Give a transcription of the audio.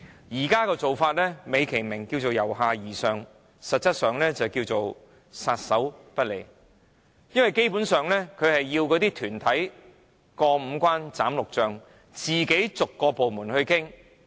現在的做法，美其名是由下而上，實質上是政府撒手不管，因為團體要辦一個墟市，需要過五關、斬六將，自行跟各部門逐一商討。